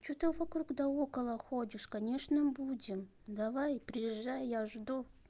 что ты вокруг да около ходишь конечно будем давай приезжай я жду